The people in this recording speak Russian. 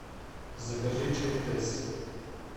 закажи чай тесс